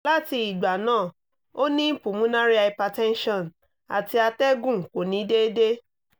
láti ìgbà náà o ni pulmonary hypertension ati atẹgun ko ni déédéé